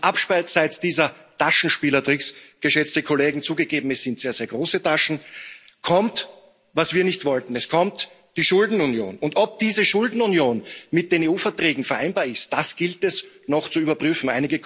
Abseits dieser Taschenspielertricks zugegeben, es sind sehr, sehr große Taschen kommt, was wir nicht wollten Es kommt die Schuldenunion. Ob diese Schuldenunion mit den EU Verträgen vereinbar ist, das gilt es noch zu überprüfen